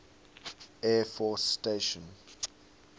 air force station